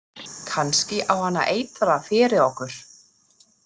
Kannski á hann að eitra fyrir okkur